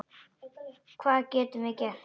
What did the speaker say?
Hvað getum við gert?